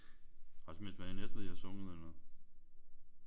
Har det så mest været i Næstved I har sunget eller?